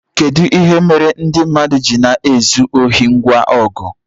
kedu ihe mere ndị mmadụ ji na-ezu ohi ngwa ọgụ